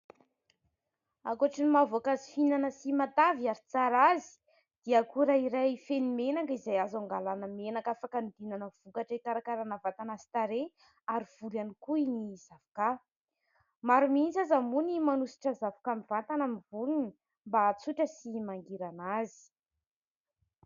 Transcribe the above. Ankoatra ny maha voankazo fihinana sy matavy ary tsara azy dia akora iray feno menaka izay azo hangalàna menaka afaka hanodinana vokatra hikarakaràna vatana sy tarehy ary volo ihany koa ny zavoka. Maro mihitsy aza moa ny manosotra zavoka mivantana amin'ny volony mba ahatsotra sy mangirana azy.